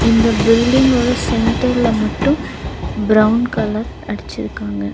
இந்த பில்டிங் ஓட சென்டர்ல மட்டு பிரவுன் கலர் அடிச்சிருக்காங்க.